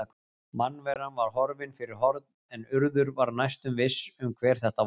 Mannveran var horfin fyrir horn en Urður var næstum viss um hver þetta var.